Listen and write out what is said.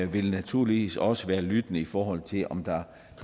vil naturligvis også være lyttende i forhold til om der